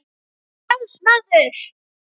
Ég er frjáls maður!